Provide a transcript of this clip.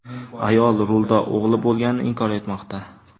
Ayol rulda o‘g‘li bo‘lganini inkor etmoqda.